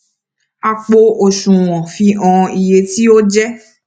àpò osùwọn fi hàn iye tí ó jẹ